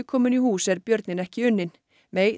komin í hús er björninn ekki unninn